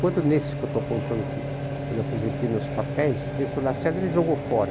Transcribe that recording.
Quando nesse que eu estou contando aqui, quando eu apresentei meus papéis, esse o Lacerda ele jogou fora.